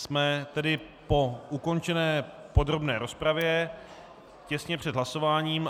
Jsme tedy po ukončené podrobné rozpravě, těsně před hlasováním.